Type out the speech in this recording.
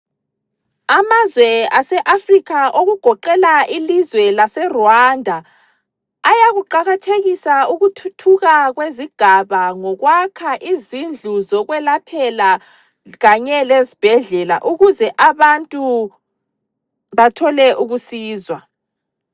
Amazwe aseAfrica okugoqela ilizwe laseRwanda ayakuqakathekisa ukuthuthuka kwezigaba ngokwakha izindlu zokwelaphela kanye lezibhedlela ukuze abantu bathole ukusizwa.